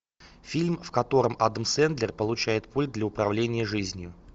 фильм в котором адам сэндлер получает пульт для управления жизнью